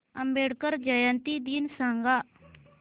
आंबेडकर जयंती दिन सांग